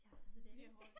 Jeg ved det ikke